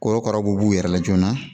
Korokaraw b'u yɛrɛ la joona